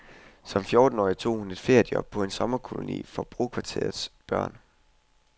Som fjortenårig tog hun et feriejob på en sommerkoloni for brokvarterernes børn.